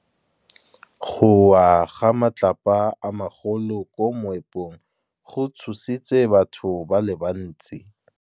Go wa ga matlapa a magolo ko moepong go tshositse batho ba le bantsi.